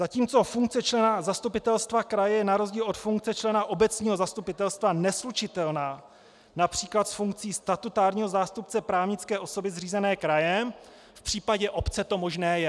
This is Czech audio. Zatímco funkce člena zastupitelstva kraje je na rozdíl od funkce člena obecního zastupitelstva neslučitelná například s funkcí statutárního zástupce právnické osoby zřízené krajem, v případě obce to možné je.